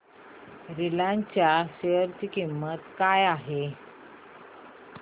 Reliance च्या शेअर ची किंमत काय आहे